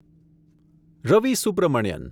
Ravi Subramanian